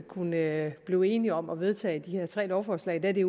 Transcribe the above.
kunne blive enige om at vedtage de her tre lovforslag da det